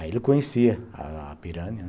Aí ele conhecia a a Pirani, né?